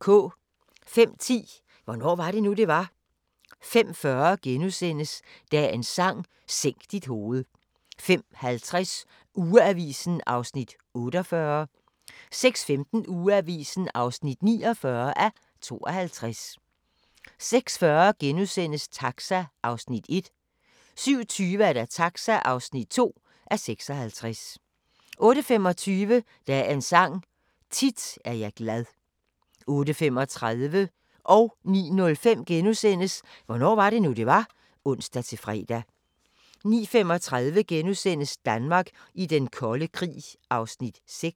05:10: Hvornår var det nu, det var? 05:40: Dagens Sang: Sænk dit hoved * 05:50: Ugeavisen (48:52) 06:15: Ugeavisen (49:52) 06:40: Taxa (1:56)* 07:20: Taxa (2:56) 08:25: Dagens Sang: Tit er jeg glad 08:35: Hvornår var det nu, det var? *(ons-fre) 09:05: Hvornår var det nu, det var? *(ons-fre) 09:35: Danmark i den kolde krig (6:12)*